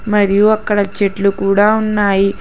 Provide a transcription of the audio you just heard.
మరియు అక్కడ చెట్లు కూడ ఉన్నాయి.